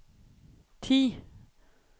ti